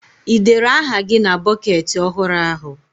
Ị dere aha gị na bọketị ọhụrụ ahụ?